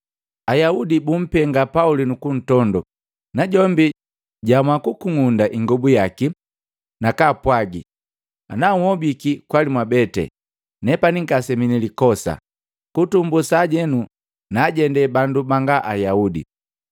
Ayaudi bumpenga Pauli nukuntondo, najombi jwaamua kukung'unda ingobu yaki, nakaapwagi, “Ana nhobiki kwali mwabete, nepani ngasemi nilikosa. Kutumbu sajenu naajende bandu banga Ayaudi.”